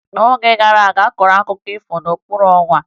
N'oge gara aga, a kọrọ akụkọ ifo n'okpuru ọnwa